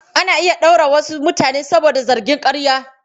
Ana iya ɗaure wasu mutane saboda zargin ƙarya.